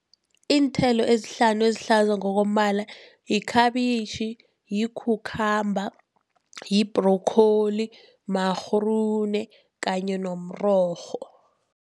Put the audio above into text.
Iinthelo ezihlanu ezihlaza ngokombala yikhabitjhi, yi-cucumber, yi-broccoli, ma-groen kanye nomrorho.